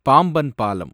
பாம்பன் பாலம்